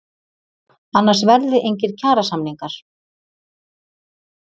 Annars verði engir kjarasamningar